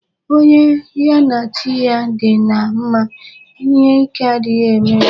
Onye ya na chi ya dị na mma, ihe ike adịghị eme ya.